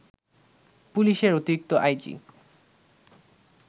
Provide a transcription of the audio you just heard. পুলিশের অতিরিক্ত আইজি